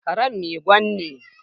Karen Mai Gwan ne